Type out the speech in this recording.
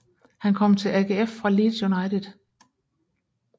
Han kom til AGF fra Leeds United